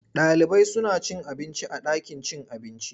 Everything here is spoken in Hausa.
Ɗalibai suna cin abinci a ɗakin cin abinci.